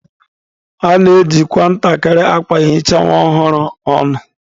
A na-ejikwa ntakịrị akwa ehicha nwa ọhụrụ ọnụ.